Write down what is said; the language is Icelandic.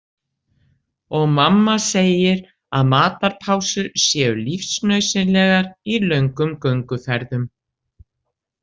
Og mamma segir að matarpásur séu lífsnauðsynlegar í löngum gönguferðum